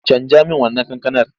Canja min wannan kankanar!